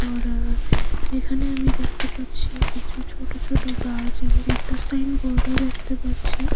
আমরা এখানে আমি দেখতে পাচ্ছি কিছু ছোট ছোট গাছ এবং একটা সাইনবোর্ডও দেখতে পাচ্ছি।